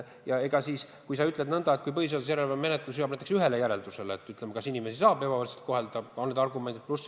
Ja kui sa ütled nõnda, et põhiseaduse järelevalve menetlus jõuab näiteks järeldusele, et inimesi saab ebavõrdselt kohelda, kui on teatud argumendid.